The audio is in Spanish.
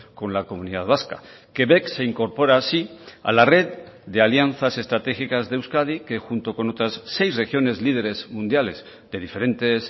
con la comunidad vasca quebec se incorpora así a la red de alianzas estratégicas de euskadi que junto con otras seis regiones líderes mundiales de diferentes